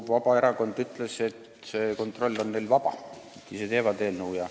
Vabaerakond ütles, et kontroll on neil vaba, nad ise teevad eelnõu.